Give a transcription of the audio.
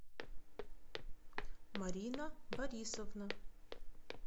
марина борисовна